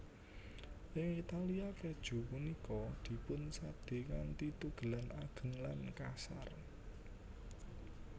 IngItalia keju punika dipunsadé kanthi tugelan ageng lan kasar